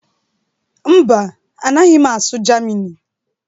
Mba, anaghị m asụ Germini